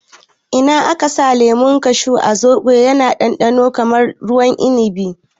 In aka sa lemun kashu a zobo ya na ɗanɗano kamar ruwan inibi